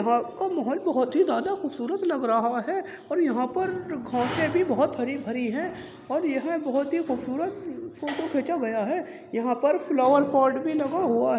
रात का मोहोल बोहोत ही ज्यादा खूबसूरत लग रहा है और यहाँ पर घासे भी बोहोत हरी-भरी है और यह खबसूरत फ़ोटो खींचा गया है | यहाँ पर फ्लावर पॉट भी लगा हुआ है।